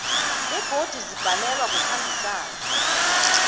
begodu zibhalelwa kukhambisana